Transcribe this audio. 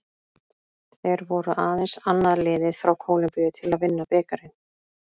Þeir voru aðeins annað liðið frá Kólumbíu til að vinna bikarinn.